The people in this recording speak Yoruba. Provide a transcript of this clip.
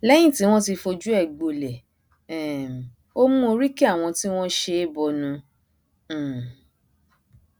lẹyìn tí wọn ti fojú ẹ gbolẹ um ó mú oríki àwọn tí wọn ṣe é bọnu um